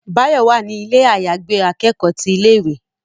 Báyọ̀ wà ní ilé àyàgbé akẹ́kọ̀ọ́ ti ilé ìwé.